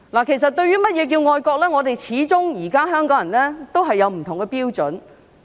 其實，對於甚麼是愛國，始終不同的香港人也有不同的標準。